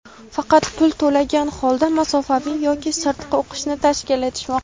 faqat pul to‘lagan holda masofaviy yoki sirtqi o‘qishni taklif etishmoqda.